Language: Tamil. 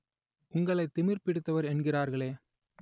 உங்களை திமிர் பிடித்தவர் என்கிறார்களே